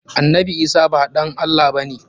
Annabi Isah ba ɗan Allah ba ne.